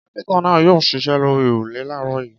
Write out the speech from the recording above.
Kápẹ́ńtà náà yóò ṣiṣẹ́ lórí òrùlé láàárọ̀ yìí.